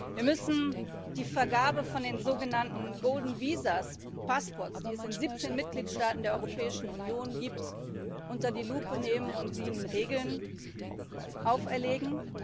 Wir müssen die Vergabe von den sogenannten golden visas and passports die es in 17 Mitgliedstaaten der Europäischen Union gibt, unter die Lupe nehmen und ihnen Regeln auferlegen.